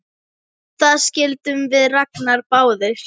Það skildum við Ragnar báðir!